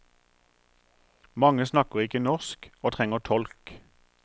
Mange snakker ikke norsk, og trenger tolk.